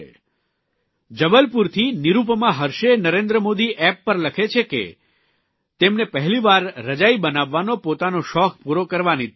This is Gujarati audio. જબલપુરા નિરૂપમા હર્ષેય નરેન્દ્ર મોદી એપ ઉપર લખે છે કે તેમને પહેલીવાર રજાઇ બનાવવાનો પોતાનો શોખ પૂરો કરવાની તક મળી છે